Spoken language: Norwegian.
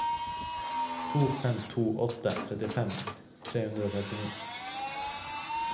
to fem to åtte trettifem tre hundre og trettini